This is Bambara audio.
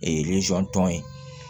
tɔn ye